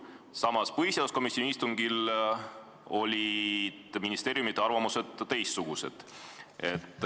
Samas, põhiseaduskomisjoni istungil olid ministeeriumide arvamused teistsugused.